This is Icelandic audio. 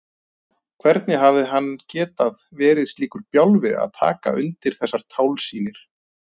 Hvernig hafði hann getað verið slíkur bjálfi að taka undir þessar tálsýnir?